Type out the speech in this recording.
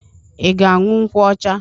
Ị ga-aṅụ nkwụ ọcha?